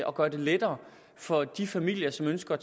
og gøre det lettere for de familier som ønsker at